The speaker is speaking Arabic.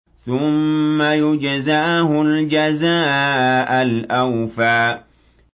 ثُمَّ يُجْزَاهُ الْجَزَاءَ الْأَوْفَىٰ